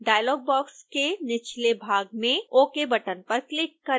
dialogue box के निचले भाग में ok बटन पर क्लिक करें